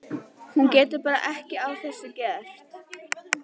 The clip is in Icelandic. Hún getur bara ekki að þessu gert.